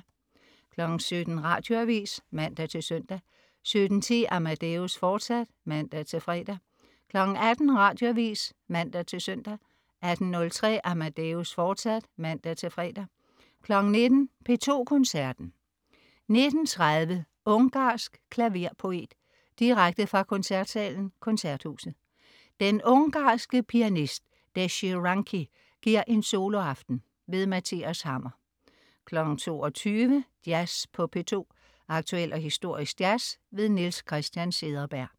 17.00 Radioavis (man-søn) 17.10 Amadeus, fortsat (man-fre) 18.00 Radioavis (man-søn) 18.03 Amadeus, fortsat (man-fre) 19.00 P2 Koncerten. 19.30 Ungarsk klaverpoet. Direkte fra Koncertsalen, Koncerthuset. Den ungarske pianist, Dezsö Ranki, giver en soloaften. Mathias Hammer 22.00 Jazz på P2. Aktuel og historisk jazz. Niels Christian Cederberg